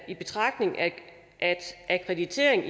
i betragtning af at akkreditering